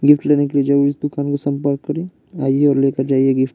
Gift लेने के लिए जरूर इस दुकान को संपर्क करें आइए और लेकर जाइए गिफ्ट ।